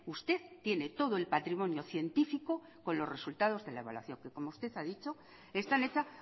usted tiene todo el patrimonio científico con los resultados de la evaluación que como usted ha dicho está hecha